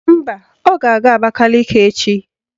Mba, ọ ga-aga Abakaliki echi